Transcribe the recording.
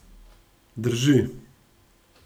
Drži.